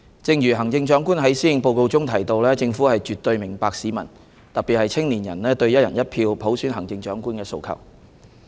正如行政長官在施政報告中提到，政府絕對明白市民，特別是青年人，對"一人一票"普選行政長官的訴求。